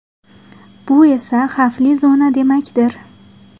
Bu esa xavfli zona demakdir.